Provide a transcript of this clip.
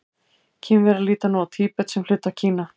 Kínverjar líta nú á Tíbet sem hluta af Kína.